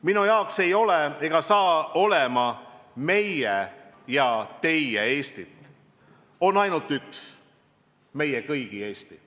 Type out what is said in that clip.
Minu jaoks ei ole ega saa olema meie ja teie Eestit, on ainult üks – meie kõigi Eesti.